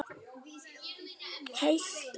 Heilt ár.